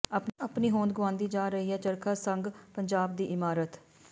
ਆਪਣੀ ਹੋਂਦ ਗੁਆਉਂਦੀ ਜਾ ਰਹੀ ਹੈ ਚਰਖਾ ਸੰਘ ਪੰਜਾਬ ਦੀ ਇਮਾਰਤ